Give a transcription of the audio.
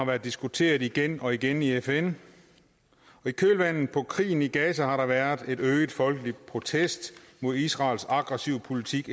været diskuteret igen og igen i fn i kølvandet på krigen i gaza har der været en øget folkelig protest mod israels aggressive politik